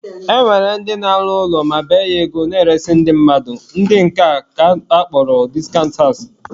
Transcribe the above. E nwere ndị na-alụ ụlọ ma bee ya ego na-eresị ndị mmadụ, ndị nke a ka akpọrọ discount house